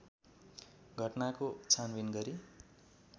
घटनाको छानबिन गरी